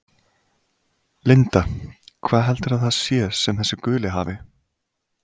Linda: Hvað heldurðu að það sé sem þessi guli hafi?